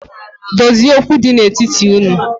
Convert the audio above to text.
Dozie okwu di n’etiti unu